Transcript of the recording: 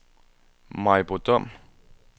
Maribo Dom